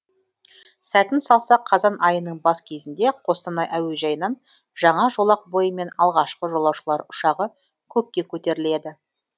сәтін салса қазан айының бас кезінде қостанай әуежайынан жаңа жолақ бойымен алғашқы жолаушылар ұшағы көкке көтеріледі